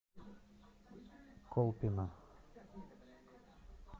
колпино